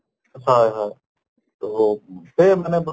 হয় হয় তʼহ সেয়ে মানে ব